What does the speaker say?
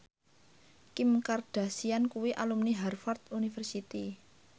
Kim Kardashian kuwi alumni Harvard university